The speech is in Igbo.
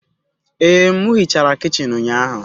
Ee, m hichara kichin ụnyahụ